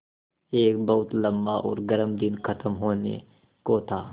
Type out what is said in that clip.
एक बहुत लम्बा और गर्म दिन ख़त्म होने को था